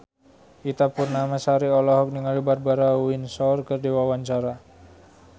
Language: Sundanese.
Ita Purnamasari olohok ningali Barbara Windsor keur diwawancara